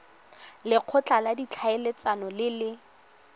lekgotla la ditlhaeletsano le le